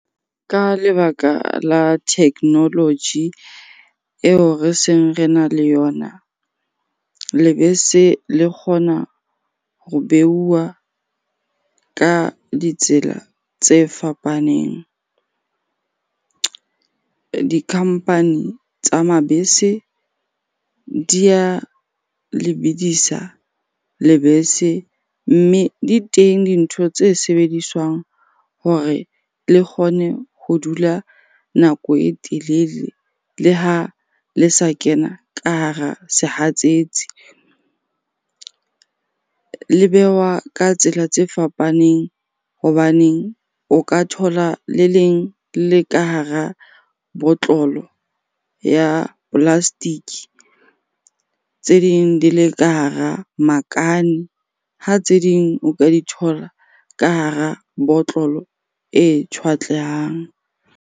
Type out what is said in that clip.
Ka lebaka la technology eo re seng rena le yona. Lebese le kgona ho beuwa ka ditsela tse fapaneng. Di-company tsa mabese di a lebidisa lebese mme di teng dintho tse sebediswang hore le kgone ho dula nako e telele le ha le sa kena ka hara sehatsetsi. Le behwa ka tsela tse fapaneng hobaneng o ka thola le leng le le ka hara botlolo ya plastic, tse ding di le ka hara makane, ha tse ding o ka di thola ka hara botlolo e tjhwatlehang.